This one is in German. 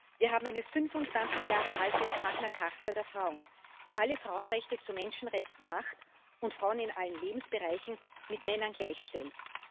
Wir haben eine 25 Jahre alte Magna Charta der Frauen, die alle Frauenrechte zu Menschenrechten macht und Frauen in allen Lebensbereichen mit Männern gleichstellt.